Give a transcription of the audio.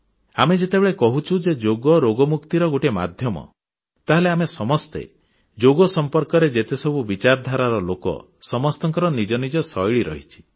ଆମେ ଯେତେବେଳେ କହୁଛୁ ଯେ ଯୋଗ ରୋଗ ମୁକ୍ତିର ଗୋଟିଏ ମାଧ୍ୟମ ତାହେଲେ ଆମେ ସମସ୍ତେ ଯୋଗ ସମ୍ପର୍କରେ ଯେତେସବୁ ବିଚାରଧାରାର ଲୋକ ସମସ୍ତଙ୍କର ନିଜ ନିଜ ଶୈଳୀ ରହିଛି